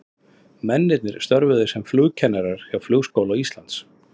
Mennirnir störfuðu sem flugkennarar hjá Flugskóla Íslands.